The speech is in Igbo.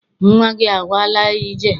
Nnwa gị agawala ije?